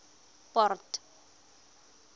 port